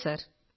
അതെ സർ